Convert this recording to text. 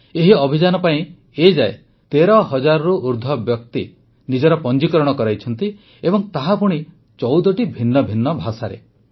ଏହି ଅଭିଯାନ ପାଇଁ ଏ ଯାଏ ୧୩ ହଜାରରୁ ଅଧିକ ବ୍ୟକ୍ତି ନିଜର ପଞ୍ଜିକରଣ କରାଇଛନ୍ତି ଏବଂ ତାହା ପୁଣି ୧୪ଟି ଭିନ୍ନ ଭିନ୍ନ ଭାଷାରେ